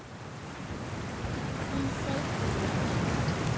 Í seinni tíð.